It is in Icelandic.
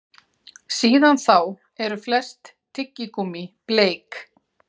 Síðan þá eru flest tyggigúmmí bleik.